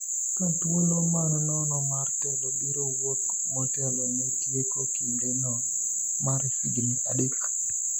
ka thuolo man nono mar telo biro wuok motelo ne tieko kinde no mar higni adek